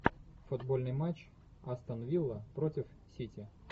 футбольный матч астон вилла против сити